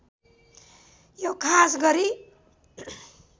यो खास गरी